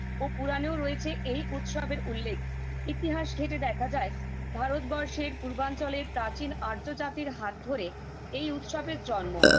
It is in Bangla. ও পুরানেও রয়েছে এই উৎসবের উল্লেখ ইতিহাস ঘেঁটে দেখা যায় ভারতবর্ষের পূর্বাঞ্চলের প্রাচীন আর্য জাতির হাত ধরে এই উৎসবের জন্ম